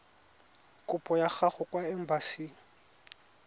kopo ya gago kwa embasing